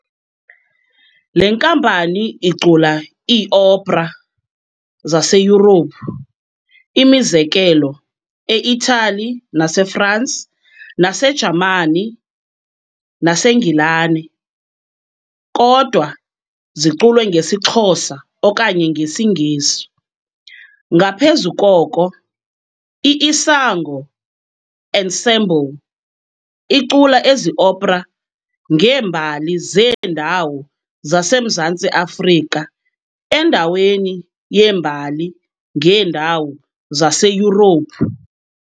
Le nkampani icula iiopera zaseYurophu, imizekelo eIthali naseFransi naseJamani naseNgilane, kodwa ziculwe ngesiXhosa okanye ngesiNgesi. Ngaphezu koko, i-Isango Ensemble icula ezi opera ngeembali zeendawo zaseMzantsi Afrika endaweni yeembali ngeendawo zaseYurophu.